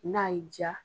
N'a y'i diya